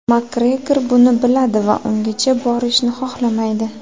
Makgregor buni biladi va ungacha borishni xohlamaydi.